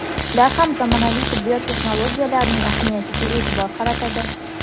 Ular ham zamonaviy tibbiy texnologiyalarning ahamiyatiga e’tibor qaratadi.